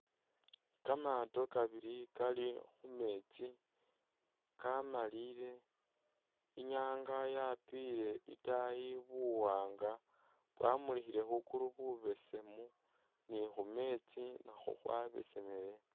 Kamaato kabili kali khumeetsi kamaliyile inyanga yapile itaayi buwanga bwamulikhile khukulu bubesemu ni khumetsi nakhwo khwabesemele